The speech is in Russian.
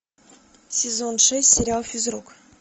сезон шесть сериал физрук